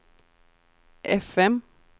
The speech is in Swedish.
fm